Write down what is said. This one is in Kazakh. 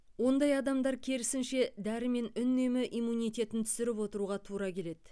ондай адамдар керісінше дәрімен үнемі иммунитетін түсіріп отыруға тура келеді